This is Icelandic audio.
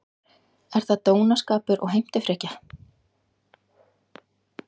Er það dónaskapur og heimtufrekja?